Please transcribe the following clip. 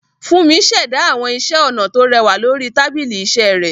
Fúnmi ṣẹ̀dá àwọn iṣẹ́ ọnà tó rẹwà lórí tábìlì iṣẹ́ rẹ̀.